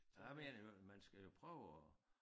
Jeg mener jo i øvrigt man skal prøve at